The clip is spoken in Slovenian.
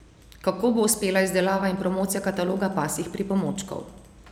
Kako bo uspela izdelava in promocija kataloga pasjih pripomočkov?